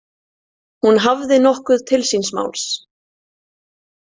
Hún hafði nokkuð til síns máls.